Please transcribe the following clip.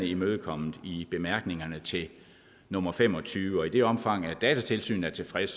imødekommet i bemærkningerne til nummer fem og tyve og i det omfang datatilsynet er tilfreds